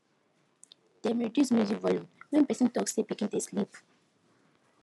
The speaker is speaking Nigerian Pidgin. dem reduce music volume when person talk say pikin dey sleep